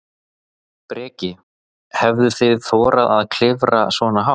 Breki: Hefðuð þið þorað að klifra svona hátt?